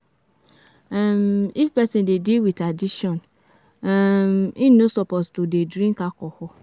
um If person dey deal with addiction, um im no suppose to dey um drink alcohol.